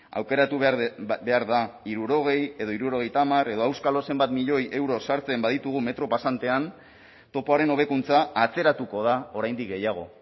aukeratu behar da hirurogei edo hirurogeita hamar edo auskalo zenbat milioi euro sartzen baditugu metro pasantean topoaren hobekuntza atzeratuko da oraindik gehiago